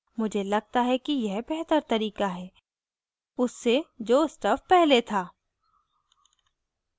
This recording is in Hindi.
मुझे लगता है कि यह बेहतर तरीका है उससे जो stuff पहले था